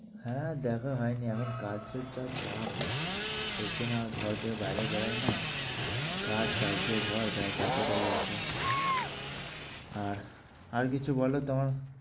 হ্যাঁ দেখা হয়নি। এখন কাজ এর যা চাপ দেখছ না আর ঘর থেকে বাইরে বেরোই না। কাজ, কাজ দিয়ে ঘর ব্যাস এতটাই আছে। আর আর কিছু বলো তোমার।